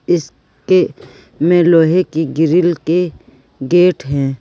इस के में लोहे की ग्रिल के गेट हैं।